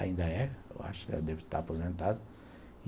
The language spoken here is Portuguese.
Ainda é. Eu acho que já deve estar aposentado.